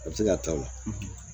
A bɛ se ka taa o la